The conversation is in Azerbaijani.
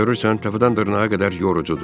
Görürsən, təpədən dırnağa qədər yorucudur.